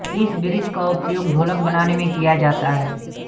इस वृक्ष का उपयोग ढोलक बनाने में किया जाता है